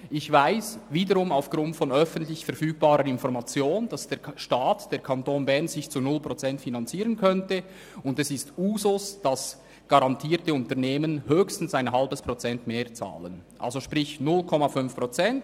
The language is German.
Ich weiss wiederum aufgrund von öffentlich verfügbarer Information, dass der Staat beziehungsweise der Kanton Bern sich zu 0 Prozent finanzieren könnte, und es ist Usus, dass garantierte Unternehmen höchstens ein halbes Prozent mehr zahlen, sprich: 0,5 Prozent.